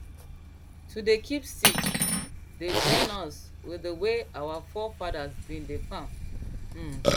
to dey kip seeds dey join us with dey way our forefathers bin dey farm um